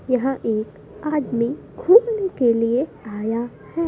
यह एक आदमी घूमने के लिए आया है।